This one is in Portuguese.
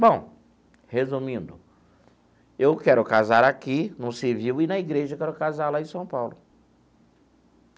Bom, resumindo, eu quero casar aqui, no civil, e na igreja, eu quero casar lá em São Paulo.